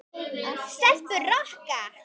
Stelpur Rokka!